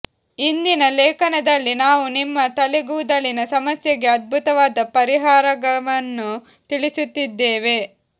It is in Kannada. ಇಂದಿನ ಲೇಖನದಲ್ಲಿ ನಾವು ನಿಮ್ಮ ತಲೆಗೂದಲಿನ ಸಮಸ್ಯೆಗೆ ಅದ್ಭುತವಾದ ಪರಿಹಾರಗವನ್ನು ತಿಳಿಸುತ್ತಿದ್ದೇವೆ